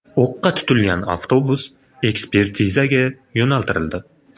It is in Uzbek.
O‘qqa tutilgan avtobus ekspertizaga yo‘naltirildi.